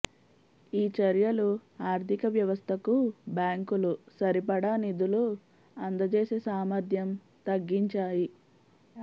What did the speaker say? ఈ చర్యలు ఆర్థిక వ్యవస్థకు బ్యాంకులు సరిపడా నిధులు అందజేసే సామర్థ్యం తగ్గించాయి